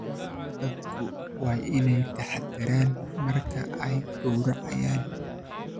Dadku waa inay taxaddaraan marka ay gowracayaan.